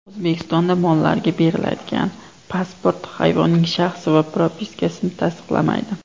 O‘zbekistonda mollarga beriladigan pasport hayvonning shaxsi va propiskasini tasdiqlamaydi.